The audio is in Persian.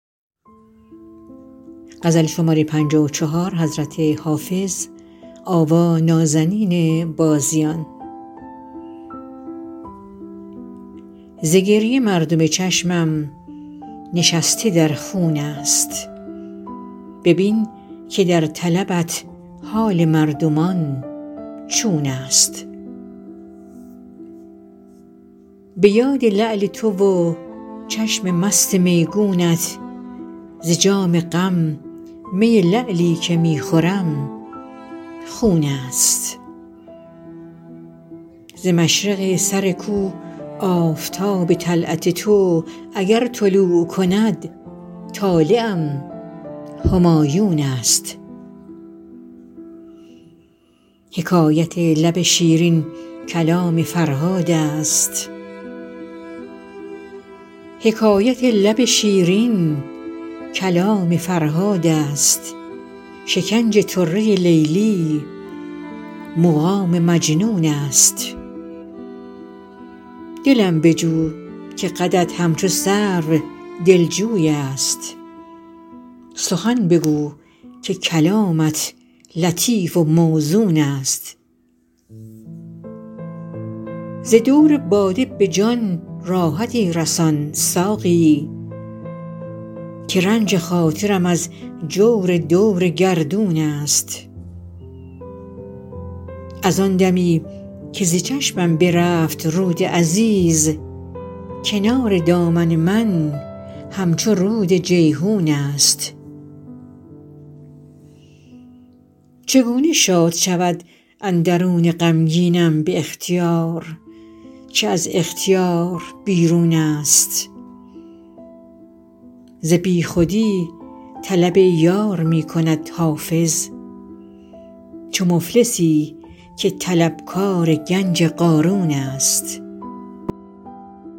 ز گریه مردم چشمم نشسته در خون است ببین که در طلبت حال مردمان چون است به یاد لعل تو و چشم مست میگونت ز جام غم می لعلی که می خورم خون است ز مشرق سر کو آفتاب طلعت تو اگر طلوع کند طالعم همایون است حکایت لب شیرین کلام فرهاد است شکنج طره لیلی مقام مجنون است دلم بجو که قدت همچو سرو دلجوی است سخن بگو که کلامت لطیف و موزون است ز دور باده به جان راحتی رسان ساقی که رنج خاطرم از جور دور گردون است از آن دمی که ز چشمم برفت رود عزیز کنار دامن من همچو رود جیحون است چگونه شاد شود اندرون غمگینم به اختیار که از اختیار بیرون است ز بیخودی طلب یار می کند حافظ چو مفلسی که طلبکار گنج قارون است